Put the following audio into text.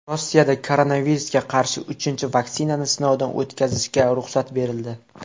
Rossiyada koronavirusga qarshi uchinchi vaksinani sinovdan o‘tkazishga ruxsat berildi.